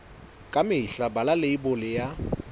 ka mehla bala leibole ya